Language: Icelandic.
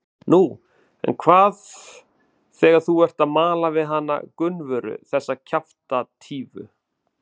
Nú, en hvað þegar þú ert að mala við hana Gunnvöru, þessa kjaftatífu?